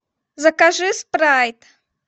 закажи спрайт